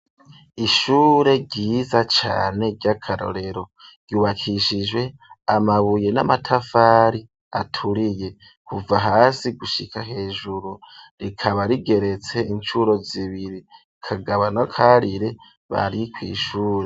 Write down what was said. Ishure ryiza cyane ryakarorero ryubakishijwe amabuye n'amatafari aturiye kuva hasi gushika hejuru rikaba rigeretse incuro zibiri kagabo na karire bari kwishure.